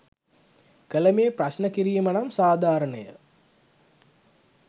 කළ මේ ප්‍රශ්න කිරීම නම් සාධාරණය